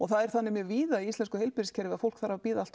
það er þannig mjög víða í íslensku heilbrigðiskerfi að fólk þarf að bíða